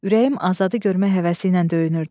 Ürəyim Azadı görmək həvəsi ilə döyünürdü.